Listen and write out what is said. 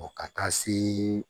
Ɔ ka taa se